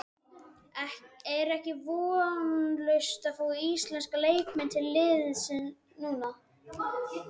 Er ekki vonlaust að fá íslenska leikmenn til liðsins núna?